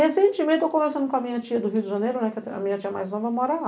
Recentemente, estou conversando com a minha tia do Rio de Janeiro, né, que a minha tia mais nova mora lá.